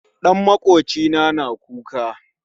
Ɗan makwocina na kuka